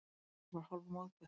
Gerður var hálfmóðguð.